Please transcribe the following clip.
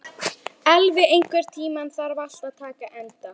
Elvi, einhvern tímann þarf allt að taka enda.